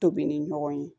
Tobili ɲɔgɔn ye